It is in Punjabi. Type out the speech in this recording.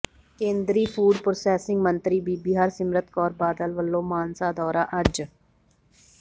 ਕੇਂਦਰੀ ਫੂਡ ਪ੍ਰੋਸੈਸਿੰਗ ਮੰਤਰੀ ਬੀਬੀ ਹਰਸਿਮਰਤ ਕੌਰ ਬਾਦਲ ਵੱਲੋਂ ਮਾਨਸਾ ਦੌਰਾ ਅੱਜ